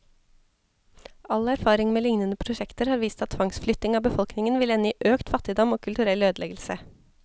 All erfaring med lignende prosjekter har vist at tvangsflytting av befolkningen vil ende i økt fattigdom, og kulturell ødeleggelse.